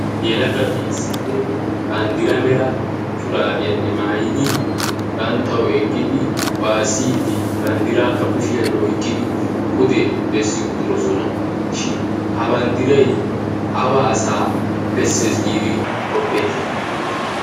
Yelagati issippe banddiraa mera shuraabiyanne maayidi banttawu eqqidi waassidi banddiraakka kushshiyan oyqqidi pude bessi uttiddosson. Shin ha bandray awa asaa banddiraa bessees giidi qoppeetti?